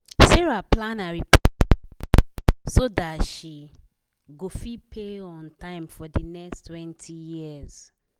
sarah plan her repayment well so that she go fit pay on time for the next twenty years